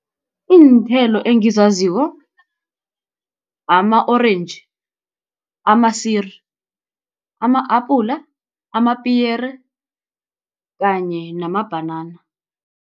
Iinthelo engizaziko, ama-orentji, ama-siri, ama-apula, amapiyere kanye namabhanana.